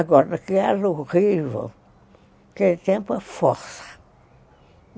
Agora, o que era horrível, naquele tempo, é força.